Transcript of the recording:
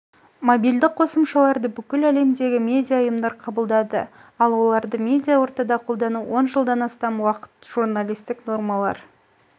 мобильді қосымшаларды бүкіл әлемдегі медиа ұйымдар қабылдады ал оларды медиа ортада қолдану он жылдан астам уақы йы журналистік нормалар